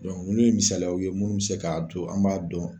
nunnu ye misaliw ye munnu be se ka to an b'a dɔn